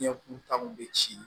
Ɲɛ kulu ta kun bɛ ci